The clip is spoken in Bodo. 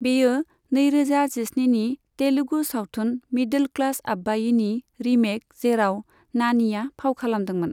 बेयो नैरोजा जिस्निनि तेलुगु सावथुन 'मिदोल क्लास आब्बायी'नि रीमेक जेराव नानीआ फाव खालामदों।